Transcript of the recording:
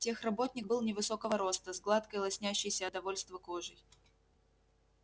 техработник был невысокого роста с гладкой лоснящейся от довольства кожей